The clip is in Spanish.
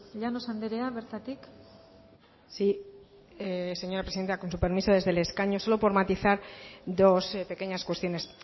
llanos andrea bertatik sí señora presidenta con su permiso desde el escaño solo por matizar dos pequeñas cuestiones